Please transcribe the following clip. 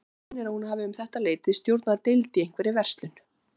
Mig minnir að hún hafi um þetta leyti stjórnað deild í einhverri verslun.